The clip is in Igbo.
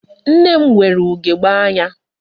Nna m nwere ugegbe anya.